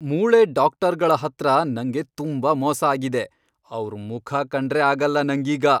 ಮೂಳೆ ಡಾಕ್ಟರ್ಗಳ್ಹತ್ರ ನಂಗೆ ತುಂಬಾ ಮೋಸ ಆಗಿದೆ, ಅವ್ರ್ ಮುಖ ಕಂಡ್ರೇ ಆಗಲ್ಲ ನಂಗೀಗ.